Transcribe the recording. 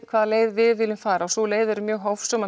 hvaða leið við viljum fara sú leið er mjög hófsöm